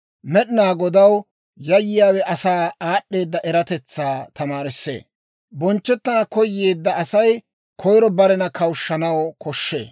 Med'inaa Godaw yayyiyaawe asaa aad'd'eeda eratetsaa tamaarissee; bonchchettana koyeedda Asay koyiro barena kawushshanaw koshshee.